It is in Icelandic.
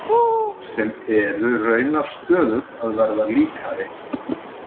Sem eru raunar stöðugt að verða líkari.